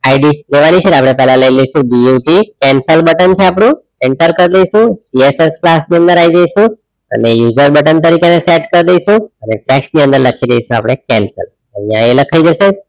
ID બનવાની છેને આપણે પેલા લઇ લઇસુ but cancel button છે આપણું enter કરી દેઇશુ jsx class ની અંદર આઇ જયસુ અને user button તરીકે એને સેટ કરી દેઇશુ અને text ની અંદર લખી દેઇશુ આપડે cancel અહીંયા એ લખાઈ જશે